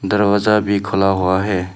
दरवाजा भी खुला हुआ है।